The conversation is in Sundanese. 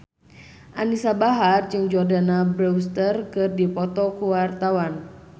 Anisa Bahar jeung Jordana Brewster keur dipoto ku wartawan